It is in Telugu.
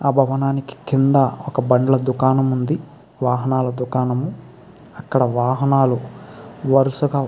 ఆ భవనానికి కింద ఒక బండ్ల దుకాణం ఉంది. వాహనాల దుకానము అక్కడ వాహనాల వరసగా --